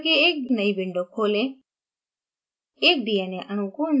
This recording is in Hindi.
new icon उपयोग करके एक नई window खोलें